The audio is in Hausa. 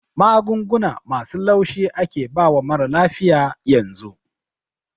Magunguna masu laushi ake bawa marar lafiya yanzu